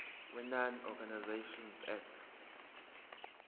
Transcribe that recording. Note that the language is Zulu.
wenonprofit organisations act